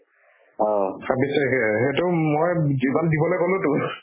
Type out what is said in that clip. ছাব্বিছ তাৰিখেহে সেইটো মই উব এইবাৰ দিবলে গ'লোতো